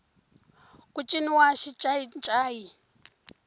ku ciniwa xincayincayi